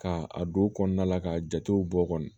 Ka a don kɔnɔna la ka jatew bɔ kɔni